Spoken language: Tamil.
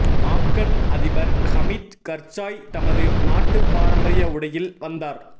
ஆப்கன் அதிபர் ஹமீத் கர்சாய் தமது நாட்டு பாரம்பரிய உடையில் வந்தார்